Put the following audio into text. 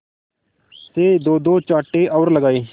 से दोदो चांटे और लगाए